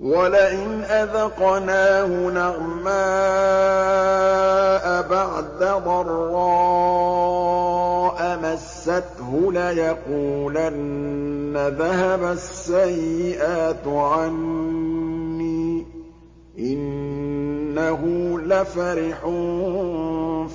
وَلَئِنْ أَذَقْنَاهُ نَعْمَاءَ بَعْدَ ضَرَّاءَ مَسَّتْهُ لَيَقُولَنَّ ذَهَبَ السَّيِّئَاتُ عَنِّي ۚ إِنَّهُ لَفَرِحٌ